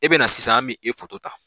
E bɛ na sisan an b' e foto ta.